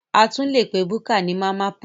A tún lè pe búkà ní Mama put